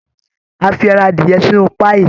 A fi ẹran adìyẹ sínú páíì